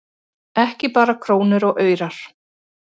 Ekki bara krónur og aurar